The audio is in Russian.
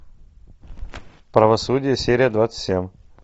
правосудие серия двадцать семь